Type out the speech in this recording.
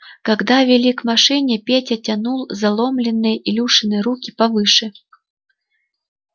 когда вели к машине петя тянул заломленные илюшины руки повыше